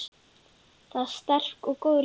Þar var sterk og góð lykt.